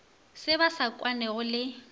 se ba sa kwanego le